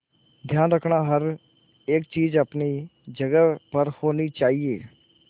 ध्यान रखना हर एक चीज अपनी जगह पर होनी चाहिए